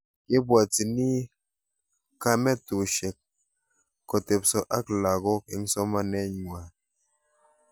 Kepwotchini kametushek kotepso ak lakok eng' somaneng'wai